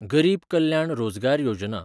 गरीब कल्याण रोजगार योजना